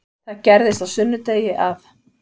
Það gerðist á sunnudegi að